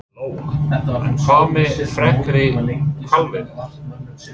Lóa: En hvað með frekari hvalveiðar?